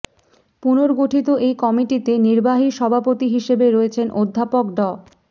পুনর্গঠিত এই কমিটিতে নির্বাহী সভাপতি হিসেবে রয়েছেন অধ্যাপক ড